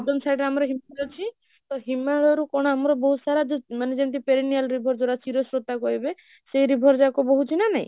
side ରେ ଆମର ହିମାଳୟ ଅଛି ତ ହିମାଳୟରୁ କଣ ଆମର ବହୁତ ସାରା ଯୋଉ ମାନେ ଯେମିତି perennial river ଯୋଉଟା କହିବେ, ସେଇ river ଯାକ ବହୁଛି ନା ନାହିଁ?